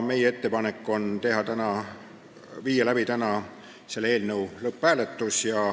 Meie ettepanek on panna see eelnõu täna lõpphääletusele.